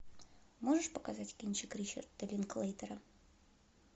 можешь показать кинчик ричарда линклейтера